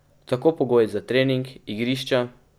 Tako pogoji za trening, igrišča ...